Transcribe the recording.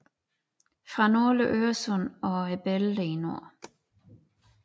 Fra nordlige Øresund og bælterne i nord